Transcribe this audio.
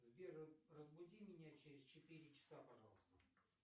сбер разбуди меня через четыре часа пожалуйста